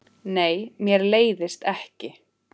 Nei, mér leiðist ekki.